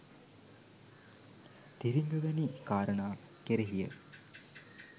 තිරිංග වැනි කාරණා කෙරෙහිය